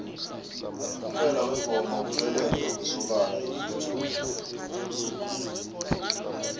umphumela wengoma kubelethwa kwesokana elitjha